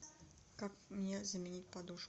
как мне заменить подушку